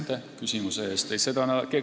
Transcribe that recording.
Aitäh küsimuse eest!